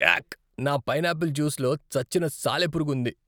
యాక్! నా పైనాపిల్ జ్యూస్లో చచ్చిన సాలెపురుగు ఉంది.